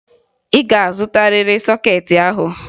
Ị ga-azụtarịrị sọkeetị ahụ!